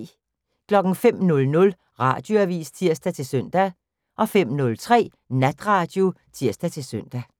05:00: Radioavis (tir-søn) 05:03: Natradio (tir-søn)